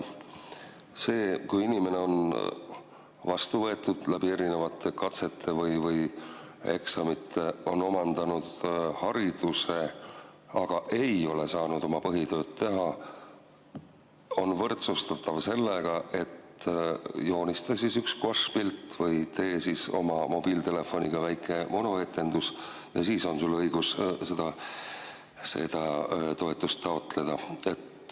See, kui inimene on erinevate katsete või eksamite alusel vastu võetud, ta on omandanud hariduse, aga ei ole saanud oma põhitööd teha, on võrdsustatav sellega, et joonista siis üks guaššpilt või tee oma mobiiltelefoniga väike monoetendus ja siis on sul õigus seda toetust taotleda.